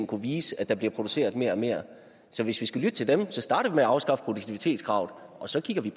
kunne vise at der bliver produceret mere og mere så hvis vi skal lytte til dem skal starte med at afskaffe produktivitetskravet og så kan vi